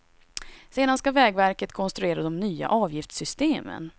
Sedan ska vägverket konstruera de nya avgiftssystemen.